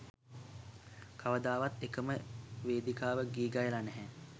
කවදාවත් එකම වේදිකාවක ගී ගයලා නැහැ.